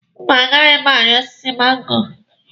Mba, a gaghị m ari osiso mango.